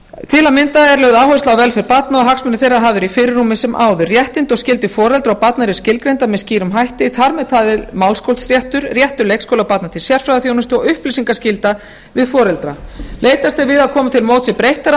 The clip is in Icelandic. til að mynda er lögð áhersla á velferð barn og hagsmunir þeirra hafðir í fyrirrúmi sem áður réttindi og skyldur foreldra og barna eru skilgreind með skýrum hætti þar með talið málskotsréttur réttur leikskólabarna til sérfræðiþjónustu og upplýsingaskylda við foreldra leitast er við að koma til móts við breyttar